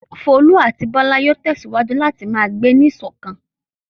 Folú àti Bọ́lá yóò tẹ̀síwájú láti máa gbé ní ìṣọ̀kan.